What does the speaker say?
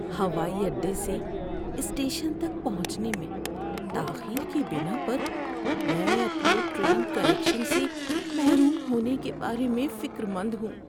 ‏ہوائی اڈے سے اسٹیشن تک پہنچنے میں تاخیر کی بنا پر میں اپنے ٹرین کنکشن سے محروم ہونے کے بارے میں فکرمند ہوں.